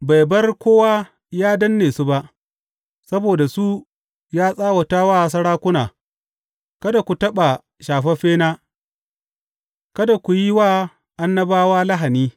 Bai bar kowa yă danne su ba; saboda su, ya tsawata wa sarakuna, Kada ku taɓa shafaffena; kada ku yi wa annabawa lahani.